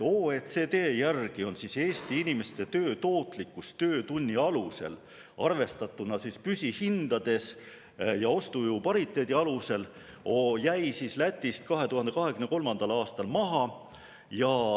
OECD järgi jäi Eesti inimeste töö tootlikkus töötunni alusel, arvestatuna püsihindades ja ostujõu pariteedi alusel, Läti 2023. aastal maha.